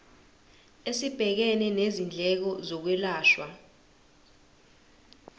esibhekene nezindleko zokwelashwa